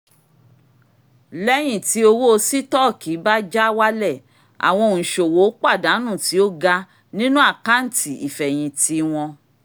lẹ́yìn tí owó sítọ́ọ̀kì bá já wálẹ̀ àwọn òǹṣòwò pàdánù tí ó ga nínú àkáńtì ìfẹ̀yìntì wọn